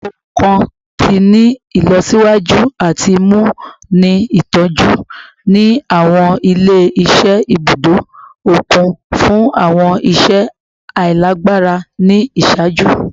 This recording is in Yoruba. Awọn ohun kan ti ni ilọsiwaju ati mu ni itọju ni awọn ile-iṣẹ ibudo okun fun awọn iṣẹ ailagbara ni iṣaaju